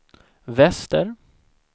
väster